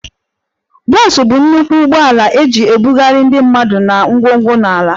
Bus bụ nnukwu ụgbọala eji ebugharị ndị mmadụ na ngwongwo na ala